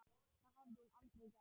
Það hafði hún aldrei gert.